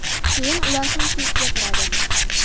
Keyin ular ham kulib gapiradi.